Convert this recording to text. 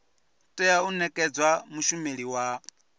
tea u nekedzwa mushumeli wa